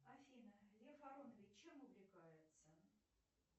афина лев аронович чем увлекается